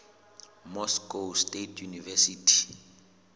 moscow state university